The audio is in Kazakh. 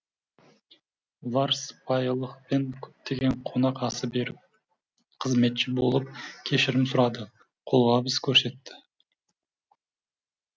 олар сыпайылықпен көптеген қонақасы беріп қызметші болып кешірім сұрады қолғабыс көрсетті